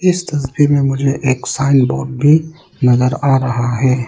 इस तस्वीर में मुझे एक साइन बोर्ड भी नजर आ रहा है।